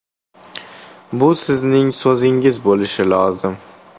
Bu sizning so‘zingiz bo‘lishi lozim.